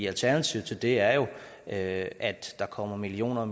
alternativet til det er jo at der kommer millioner